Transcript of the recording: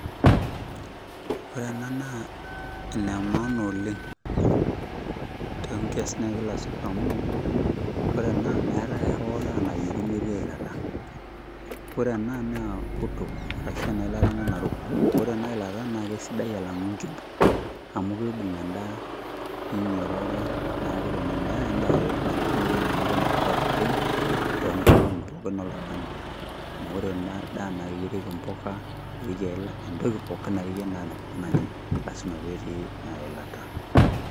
Ore ena naa ene maana oleng tonkiasin ekila siku amu, ore ena meetae ho daa nayieri metii eilata. Ore ena naa uto, arashu enailata ena naruko. Ore enailata na kesidai alang'u enkimbo. Amu kiibung' enda ninyororoe, neku ore meeta endaa yoyote nayieri metii neeku enetipat oleng, toonkolong'i pookin oltung'ani. Amu ore ena daa na keyierieki mpuka, neyierieki entoki pookin akeyie nanyai, lasima petii eilata.